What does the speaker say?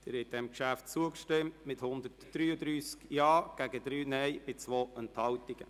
Sie haben dem Kreditgeschäft zugestimmt mit 133 Ja- gegen 3 Nein-Stimmen bei 2 Enthaltungen.